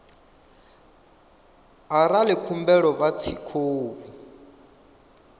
arali khumbelo vha tshi khou